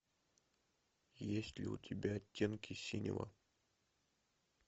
есть ли у тебя оттенки синего